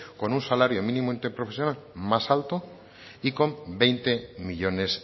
con un salario mínimo interprofesional más alto y con veinte millónes